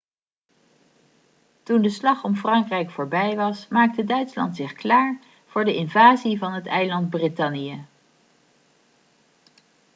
toen de slag om frankrijk voorbij was maakte duitsland zich klaar voor de invasie van het eiland brittannië